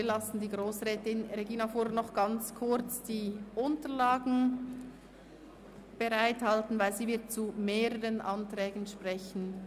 Wir lassen Grossrätin Regina Fuhrer noch kurz die Unterlagen bereit machen, denn sie wird zu mehreren Anträgen sprechen.